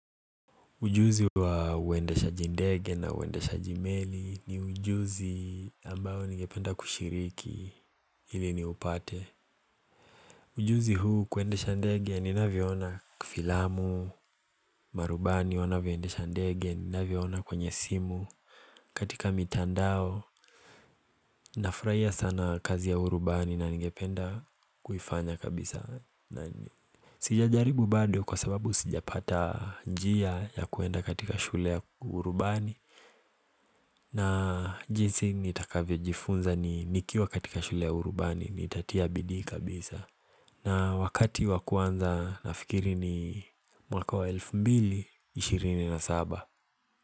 Ujuzi wa uendeshaji ndege na uendeshaji meli ni ujuzi ambayo ningependa kushiriki ili niupate Ujuzi huu kuendesha ndege ninavyoona kwa filamu, marubani wanavyoendesha ninavyoona kwenye simu katika mitandao Nafurahia sana kazi ya urubani na ningependa kuifanya kabisa na Sijajaribu bado kwa sababu sijapata njia ya kuenda katika shule ya urubani na jinsi nitakavyojifunza ni nikiwa katika shule ya urubani nitatia bidii kabisa na wakati wa kuanza nafikiri ni mwaka wa 2027.